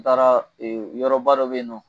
N taara e yɔrɔba dɔ be yen nɔ